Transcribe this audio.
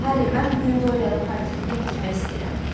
Harri, mən bu gün Doryanın portretini bitirmək istəyirəm.